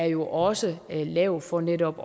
jo også er lavet for netop